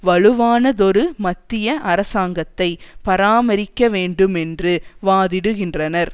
வலுவானதொரு மத்திய அரசாங்கத்தை பராமரிக்கவேண்டுமென்று வாதிடுகின்றனர்